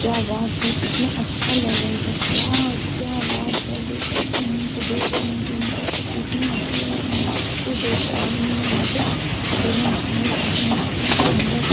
क्या बात है कितना अच्छा लग रहा इधर वाओ क्या बात है देख सकते है तो देख रहे है ज़ूम करके तो इतना अच्छा लग रहा है मत पूछिए दो ठो आदमी है यहाँ पे दोनों स्नान कर रहे है कितना सुन्दर से--